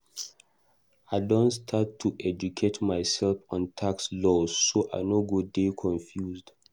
I don start to educate myself on tax laws so I no go dey confused.